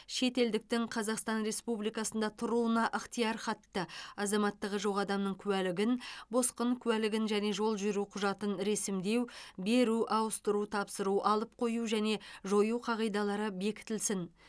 шетелдіктің қазақстан республикасында тұруына ықтиярхатты азаматтығы жоқ адамның куәлігін босқын куәлігін және жол жүру құжатын ресімдеу беру ауыстыру тапсыру алып қою және жою қағидалары бекітілсін